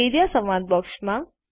A R E A સંવાદ બૉક્સમાં